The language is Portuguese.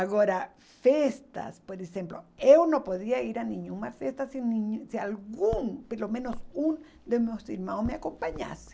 Agora, festas, por exemplo, eu não poderia ir a nenhuma festa se hum se algum, pelo menos um, dos meus irmãos me acompanhasse.